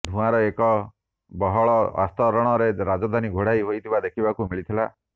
ଧୂଆଁର ଏକ ବହଳ ଆସ୍ତରଣରେ ରାଜଧାନୀ ଘୋଡ଼ାଇ ହୋଇଥିବା ଦେଖିବାକୁ ମିଳିଥିଲା